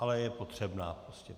Ale je potřebná prostě.